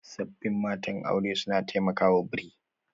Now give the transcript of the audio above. Sabbin matan aure suna taimakawa bri